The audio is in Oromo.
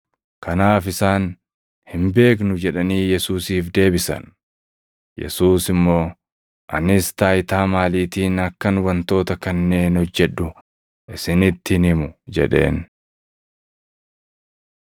Kanaaf isaan, “Hin beeknu” jedhanii Yesuusiif deebisan. Yesuus immoo, “Anis taayitaa maaliitiin akkan wantoota kanneen hojjedhu isinitti hin himu” jedheen.